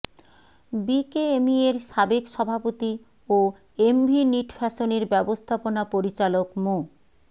বিকেএমইএর সাবেক সভাপতি ও এমভি নিট ফ্যাশনের ব্যবস্থাপনা পরিচালক মো